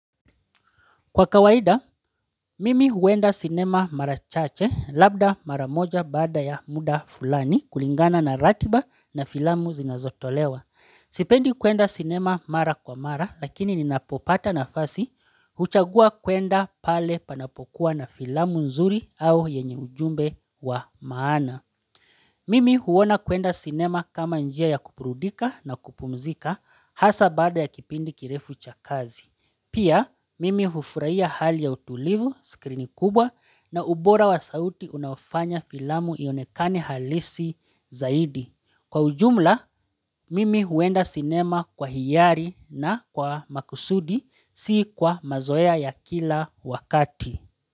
Kwa kawaida, mimi huenda sinema mara chache labda mara moja baada ya muda fulani kulingana na ratiba na filamu zinazotolewa. Sipendi kuenda sinema mara kwa mara, lakini ninapopata nafasi, huchagua kuenda pale panapokuwa na filamu nzuri au yenye ujumbe wa maana. Kwa kawaida, mimi huenda sinema marachache labda maramoja baada ya muda fulani kulingana na ratiba na filamu zinazotolewa. Pia, mimi hufurahia hali ya utulivu, skrini kubwa na ubora wa sauti unaofanya filamu ionekani halisi zaidi. Kwa ujumla, mimi huenda sinema kwa hiyari na kwa makusudi si kwa mazoea ya kila wakati.